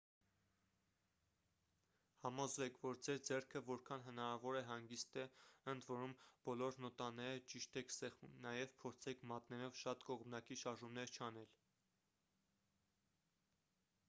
համոզվեք որ ձեր ձեռքը որքան հնարավոր է հանգիստ է ընդ որում բոլոր նոտաները ճիշտ եք սեղմում նաև փորձեք մատներով շատ կողմնակի շարժումներ չանել